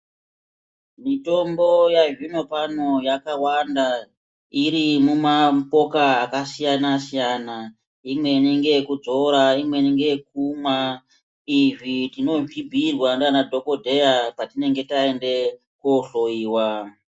Mitombo yazvinopano yakawanda iri mumapoka akasiyana siyana imweni ngeyekudzora imweni ngeyekumwa izvi tinozvibhiirwa ndiana dhokodheya patinenge taende kohloyiwa.